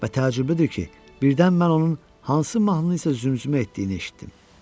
Və təəccüblüdür ki, birdən mən onun hansı mahnının isə zümzümə etdiyini eşitdim.